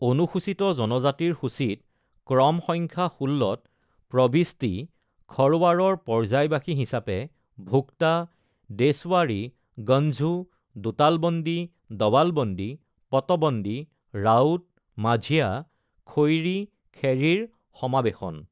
অনুসূচিত জনজাতিৰ সূচীত ক্ৰম সংখ্যা ১৬ত প্ৰৱিষ্টি, খৰৱাৰৰ পৰ্যায়বাসী হিচাপে ভোক্তা, দেশৱাৰী, গনঝু, দোতালবন্দী দৱালবন্দী, পটবন্দী, ৰাউত, মাঝিয়া, খৈৰী খেৰী ৰ সমাৱেশন